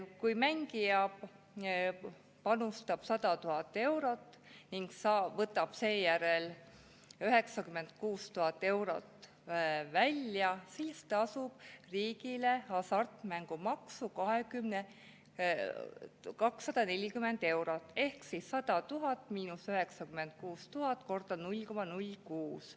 Kui mängija panustab 100 000 eurot ning võtab seejärel 96 000 eurot välja, siis tasub ta riigile hasartmängumaksu 240 eurot ehk 100 000 – 96 000 × 0,06.